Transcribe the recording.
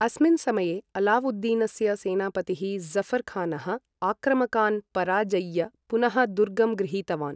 अस्मिन् समये, अलावुद्दीनस्य सेनापतिः ज़ऴर् खानः आक्रमकान् पराजय्य पुनः दुर्गं गृहीतवान्।